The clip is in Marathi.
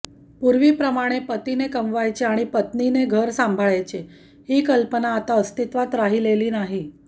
पूर्वीप्रमाणे पतीने कमवायचे आणि पत्नीने घर सांभाळायचे ही कल्पना आता अस्तित्वात राहिलेली नाही